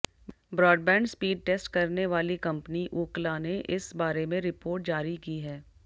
broadband speed test करने वाली company Ookla ने इस बारे में रिपोर्ट जारी की है